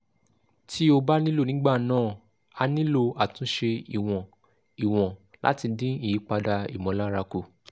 tí ó bá nílò nígbà náà a nílò àtúnṣe ìwọ̀n ìwọ̀n láti dín ìyípadà ìmọ̀lára kù